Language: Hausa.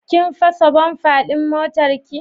Kin fasa "bumper" din motarki?